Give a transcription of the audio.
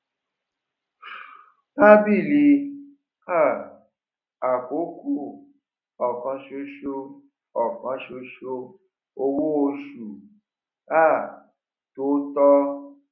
tábìlì um àkókò òkansoso òkansoso owó oṣù um tó tọ